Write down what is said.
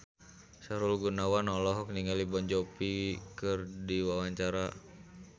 Sahrul Gunawan olohok ningali Jon Bon Jovi keur diwawancara